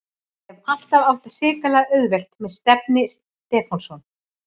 Hef alltaf átt hrikalega auðvelt með Stefni Stefánsson.